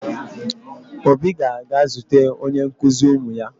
Obi ga-aga zute onye nkụzi ụmụ ya